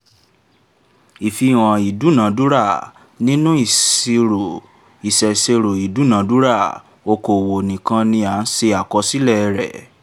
ìfihàn ìdúnadúrà nínú ìṣèṣirò ìdúnadúrà okòwò nìkan ni a ṣe àkọsílẹ̀ rẹ̀